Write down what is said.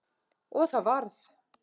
Og það varð.